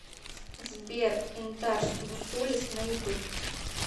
сбер интарс бусулис на ютуб